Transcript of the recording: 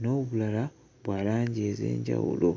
n'obulala bwa langi ez'enjawulo.